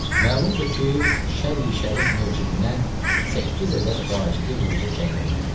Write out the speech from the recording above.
Məlumdur ki, şər-i şərif mucibinə səkkiz ədəd vacibi ruci təyin olunubdur.